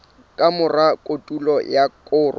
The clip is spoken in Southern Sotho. ka mora kotulo ya koro